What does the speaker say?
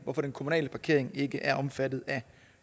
hvorfor den kommunale parkering ikke er omfattet af